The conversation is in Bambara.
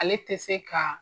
Ale tɛ se ka